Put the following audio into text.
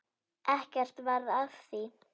Ekkert varð af því.